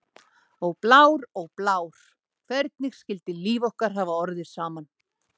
Ó, Blár, ó, Blár, hvernig skyldi líf okkar hafa orðið saman?